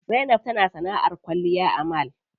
Zainab tana sanaʼar kwalliya a mall.